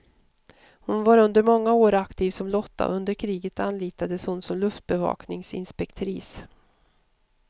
Hon var under många år aktiv som lotta och under kriget anlitades hon som luftbevakningsinspektris.